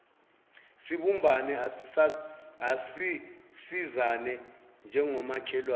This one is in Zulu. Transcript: sibumbane asisizane njengomakhelwane